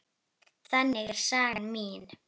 Þannig er saga mín.